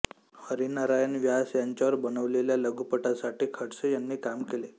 हरिनारायण व्यास यांच्यावर बनवलेल्या लघुपटासाठी खडसे यांनी काम केले